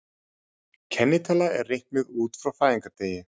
Kennitala er reiknuð út frá fæðingardegi.